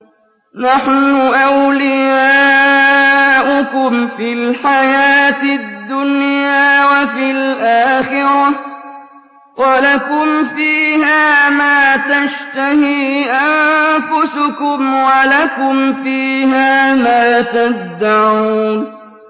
نَحْنُ أَوْلِيَاؤُكُمْ فِي الْحَيَاةِ الدُّنْيَا وَفِي الْآخِرَةِ ۖ وَلَكُمْ فِيهَا مَا تَشْتَهِي أَنفُسُكُمْ وَلَكُمْ فِيهَا مَا تَدَّعُونَ